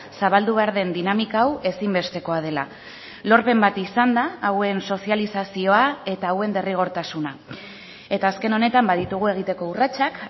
zabaldu behar den dinamika hau ezinbestekoa dela lorpen bat izan da hauen sozializazioa eta hauen derrigortasuna eta azken honetan baditugu egiteko urratsak